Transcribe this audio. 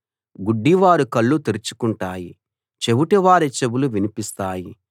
గుడ్డివారి కళ్ళు తెరుచుకుంటాయి చెవిటివారి చెవులు వినిపిస్తాయి